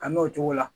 Ka n'o cogo la